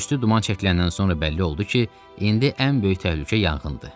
Tüstü duman çəkiləndən sonra bəlli oldu ki, indi ən böyük təhlükə yanğındır.